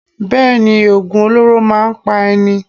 Bẹ́ẹ̀ni, Ògùn olóró máa ń pa ẹni.